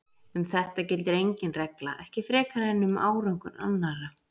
Um þetta gildir engin regla, ekki frekar en um árangur annarra.